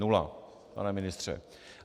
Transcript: Nula, pane ministře.